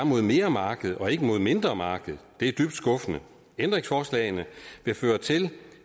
mod mere marked og ikke mod mindre marked det er dybt skuffende ændringsforslagene vil føre til